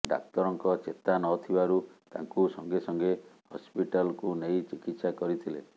ଡାକ୍ତରଙ୍କ ଚେତା ନଥିବାରୁ ତାଙ୍କୁ ସଙ୍ଗେସଙ୍ଗେ ହସପିଟାଲକୁ ନେଇ ଚିକିତ୍ସା କରିଥିଲେ